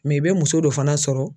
i bɛ muso dɔ fana sɔrɔ.